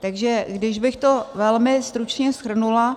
Takže když bych to velmi stručně shrnula,